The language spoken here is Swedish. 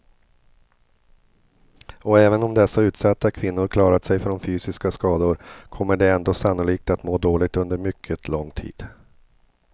Och även om dessa utsatta kvinnor klarat sig från fysiska skador kommer de ändå sannolikt att må dåligt under mycket lång tid.